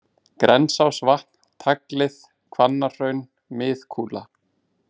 Grensásvatn, Taglið, Hvannahraun, Mið-Kúla